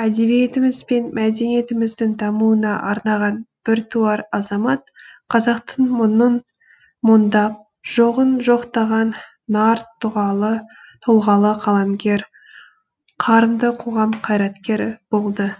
әдебиетіміз бен мәдениетіміздің дамуына арнаған біртуар азамат қазақтың мұңын мұңдап жоғын жоқтаған нар тұлғалы қаламгер қарымды қоғам қайраткері болды